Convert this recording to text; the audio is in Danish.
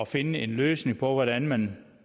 finde en løsning på hvordan man